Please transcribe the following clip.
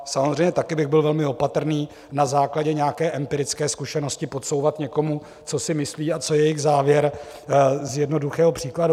Samozřejmě také bych byl velmi opatrný na základě nějaké empirické zkušenosti podsouvat někomu, co si myslí a co je jejich závěr z jednoduchého příkladu.